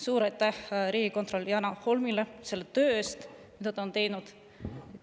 Suur aitäh riigikontrolör Janar Holmile selle töö eest, mida ta on teinud!